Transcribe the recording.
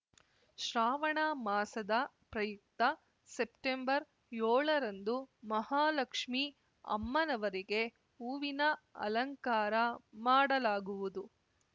ಶ್ರಾವಣ ಮಾಸದ ಪ್ರಯುಕ್ತ ಸೆಪ್ಟೆಂಬರ್ಯೋಳರಂದು ಮಹಾಲಕ್ಷ್ಮೀ ಅಮ್ಮನವರಿಗೆ ಹೂವಿನ ಅಲಂಕಾರ ಮಾಡಲಾಗುವುದು